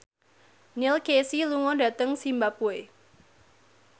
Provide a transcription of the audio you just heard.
Neil Casey lunga dhateng zimbabwe